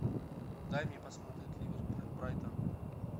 дай мне посмотреть ливерпуль брайтон